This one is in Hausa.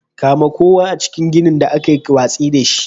Kame kowa a cikin ginin da aka yi watsi da shi.